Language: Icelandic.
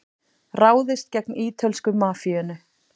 Ráðist gegn ítölsku mafíunni